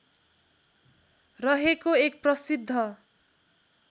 रहेको एक प्रसिद्ध